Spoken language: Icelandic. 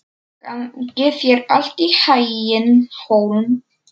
Gangi þér allt í haginn, Hólm.